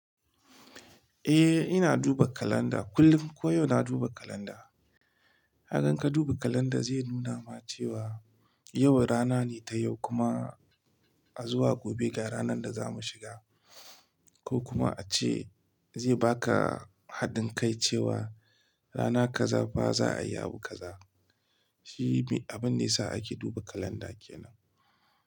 Eh ina duba kalanda, kullum koyau na duba kalanda. Kaga in ka duba kalanda zai nuna ma cewa yau rana ne ta yau kuma a zuwa gobe ga ranar da za mu shiga ko kuma ace zai baka hadin kai cewa rana kaza ba za a yi abu kaza. Shi ne abun da yasa ake duba kalanda kenan.